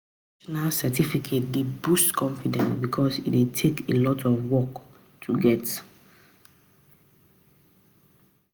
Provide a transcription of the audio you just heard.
Professional certificate dey boost confidence because e dey take process and alot of work to get